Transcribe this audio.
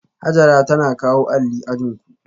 Hajara tana kawo alli ajin ku